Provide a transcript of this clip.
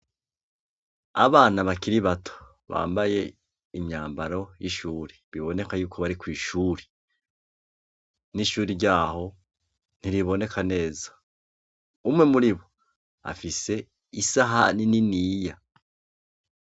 Abana bakiri bato bambaye imyambaro y'ishuri biboneka yuko bari kw'ishuri, n'ishuri ryaho ntiriboneka neza, umwe muri bo afise isahani niniya.